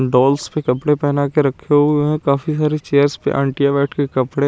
dolls पे कपडे पना के रखे हुए है काफी सारी चेयर पे आंटिया बेट के कपडे--